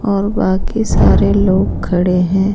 और बाकी सारे लोग खड़े हैं।